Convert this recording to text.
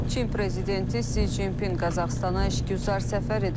Çin prezidenti Si Cinpin Qazaxıstana işgüzar səfər edib.